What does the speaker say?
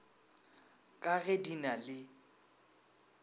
ka ge di na le